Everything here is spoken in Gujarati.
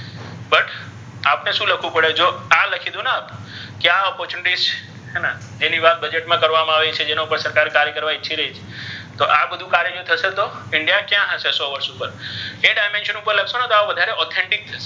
આપ્ણૅ શુ લખ્વુ પડે જો આ કિધુ ને કે આપ્ણે આ હે ને એની વાત આ બજેટ મા કતર્વામા આવી છે જેની પર કર્વા ઇચ્છી રહિ છે તો આ બધુ કાર્ય થશે તે india કયા હશે સો વર્ષ ઉપર એ dimension ઉપર લખ્શોને તો તેમ authentic